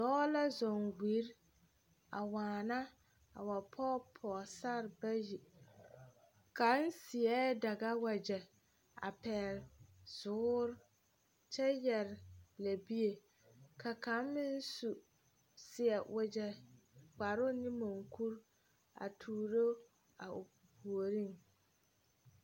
Dɔɔ la zɔŋ wiri a waana a wa pɔge pɔɔsarre bayi kaŋ seɛɛ daga wagyɛ a pɛɛle zuure kyɛ yɛre lɛbie ka kaŋ su seɛ wogyɛ kparoŋ ne monkuri a tuuro o puoriŋ.